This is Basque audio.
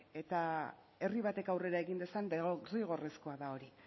eta herri batek aurrera egin dezan derrigorrezkoa da hori